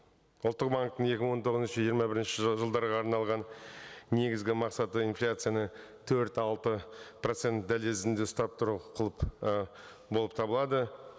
ұлттық банктің екі мың он тоғызыншы жиырма бірінші жылдарға арналған негізгі мақсаты инфляцияны төрт алты процент дәлізінде ұстап тұру қылып ы болып табылады